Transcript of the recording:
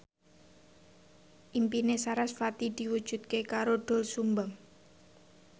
impine sarasvati diwujudke karo Doel Sumbang